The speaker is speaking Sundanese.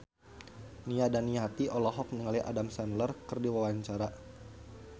Nia Daniati olohok ningali Adam Sandler keur diwawancara